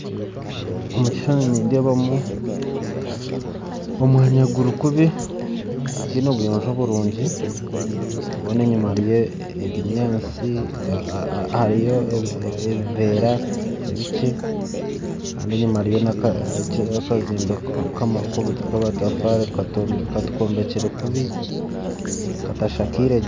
Omukishushani nindeebamu omwanya gurikubi, gutiine buyonzo burungi, gwona enyima hariyo ebinyansi hariyo ebivera ebiki, kandi enyima hariyo akazimbe k'amatafari kombikire kubi katashakiregye.